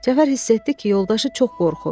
Cəfər hiss etdi ki, yoldaşı çox qorxur.